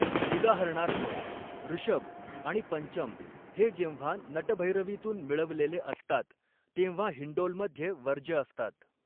उदाहरणार्थ, ऋषभ आणि पंचम हे जेव्हा नटभैरवीतून मिळवलेले असतात तेव्हा हिंडोलमध्ये वर्ज्य असतात.